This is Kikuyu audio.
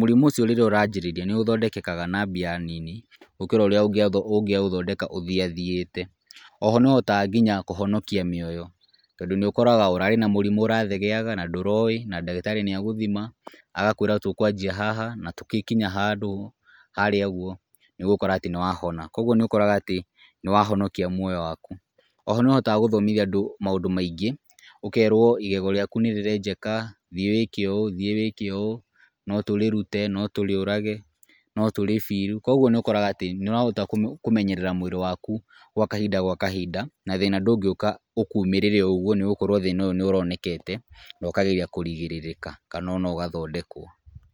mũrimũ ũcio rĩrĩa ũranjĩrĩria nĩ ũthondekekaga na mbia nini gũkĩra ũrĩa ũngĩaũthondeka ũthiathiĩte. Oho nĩ ũhotaga nginya kũhonokia mĩoyo tondũ nĩ ũkoraga ũrarĩ mũrimũ ũrathegeaga na ndũroĩ na ndagĩtarĩ nĩ agũthima, agakwĩra tũkũanjia haha na tũgĩkinya handũ harĩa ũguo nĩ ũgũkora atĩ nĩ wahona, kũguo nĩ ũkoraga atĩ nĩ wahonokia muoyo waku. Oho nĩ ũhotaga gũthomithia andũ maũndũ maingĩ, ũkerwo igego rĩaku nĩ rĩenjeka thiĩ wĩke ũũ, thiĩ wĩke ũũ no tũrĩrute, no tũrĩũrage, no tũrĩ- fill, koguo nĩ ũkoraga atĩ nĩ ũrahota kũmenyerera mwĩrĩ waku gwa kahinda gwa kahinda na thĩna ndũngĩũka ũkumĩrĩre o ũguo nĩ ũgũkorwo thĩna ũyũ nĩ ũronekete na ũkageria kũgirĩrĩka kana ona ũgathondekwo.